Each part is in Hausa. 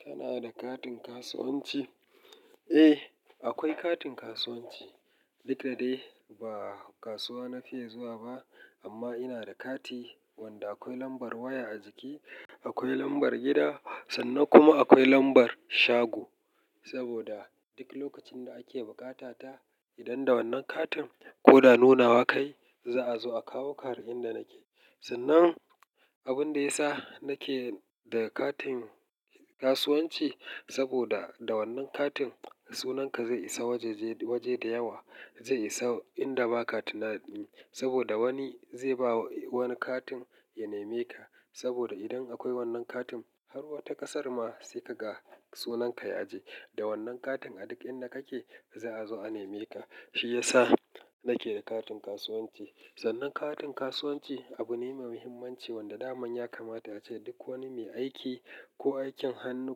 Kana da katin kasuwanci? Eh, akwai katin kasuwanci. Duka da dai ba kasuwa na fiye zuwa ba amma ina da kati wanda akwai lambar waya a jiki, akwai lambar gida sannan kuma akwai lambar shago. Saboda duk lokacin da ake bukata ta idan da wannan katin ko da nunawa kai za a zo a kawo ka har inda nake. Sannan abin da ya sa nake da katin kasuwanci saboda da wannan katin sunanka zai isa waje-waje da yawa zai isa inda ba ka tunani saboda wani zai ba wani katin ya nema ka saboda idan akwai wannan katin har wata kasar ma sai ka ga sunan ka ya aje. Da wannan katin a duk inda kake za a zo a nema ka. Shi ya sa nake da katin kasuwanci. Sannan katin kasuwanci abu ne mai muhimmanci wanda daman ya kamata ace duk wani mai aiki ko aikin hannu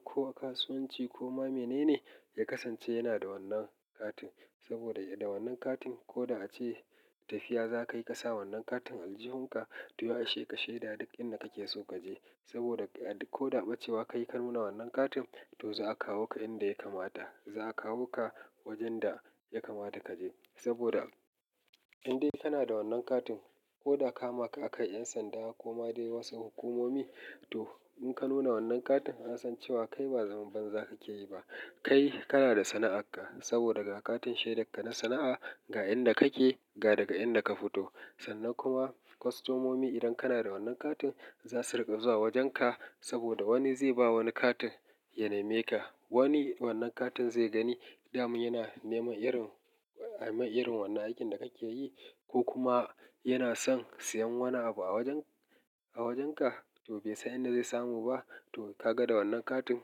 ko a kasuwanci ko ma menene ya kasance yana da wannan katin saboda da wannan katin ko da ace tafiya za ka yi ka sa wannan katin aljihunka to ya isheƙa sheda duk inda kake so kaje saboda a duk ko da bacewa ka yi kanuna wannan katin to za a kawo ka inda ya kamata. Za a kawo ka wajen da ya kamata kaje saboda indai kana da wannan katin ko da ka ma ka akai 'yan sanda ko ma dai wasu hukumomi to in ka nuna wannan katin an san cewa kai ba zamba banza kake yi ba. Kai kana da sana'arka saboda ga katin shaidarka na sana'a ga inda kake ga daga inda ka fito. Sannan kuma kwastomomi idan kana da wannan katin za su riƙa zuwa wajenka saboda wani zai ba wani katin ya nema ka. Wani wannan katin zai gani daman yana neman irin ai mai irin wannan aikin da kake yi ko kuma yana son siyan wani abu a wajen-a wajenka to bai san inda zai samu ba to ka ga da wannan katin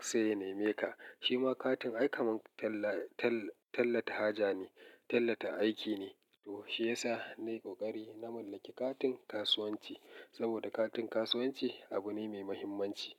sai ya nema ka. Shi ma katin aika man tall-tall-tallata haja ne, tallata aiki ne to shi ya sa na yi ƙoƙari na mallaki katin kasuwanci saboda katin kasuwanci abu ne mai muhimmanci.